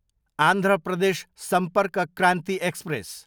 Andhra Pradesh Sampark Kranti express